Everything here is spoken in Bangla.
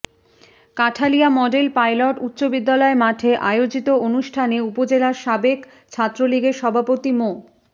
কাঁঠালিয়া মডেল পাইলট উচ্চ বিদ্যালয় মাঠে আয়োজিত অনুষ্ঠানে উপজেলা সাবেক ছাত্রলীগের সভাপতি মো